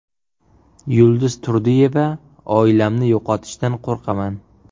Yulduz Turdiyeva: Oilamni yo‘qotishdan qo‘rqaman.